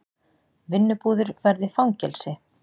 Vinnubúðir verði fangelsi